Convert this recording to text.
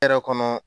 Hɛrɛ kɔnɔ